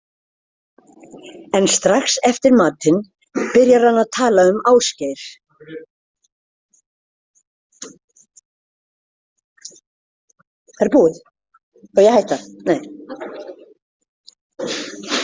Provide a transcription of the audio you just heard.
En strax eftir matinn byrjar hann að tala um Ásgeir.